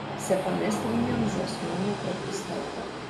Se pa ne strinjam z osnovno predpostavko.